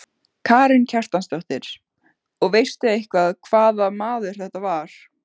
Karen Kjartansdóttir: Og veistu eitthvað hvaða maður þetta var?